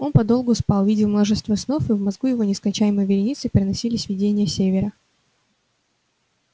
он подолгу спал видел множество снов и в мозгу его нескончаемой вереницей проносились видения севера